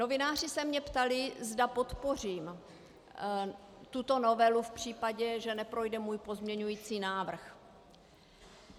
Novináři se mě ptali, zda podpořím tuto novelu v případě, že neprojde můj pozměňovací návrh.